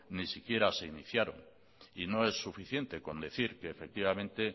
ni siquiera se iniciaron y no es suficiente con decir que efectivamente